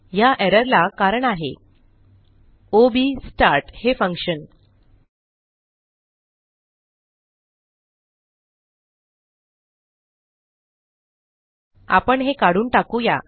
ह्या एररला कारण आहे ओ बी स्टार्ट हे फंक्शन आपण हे काढून टाकू या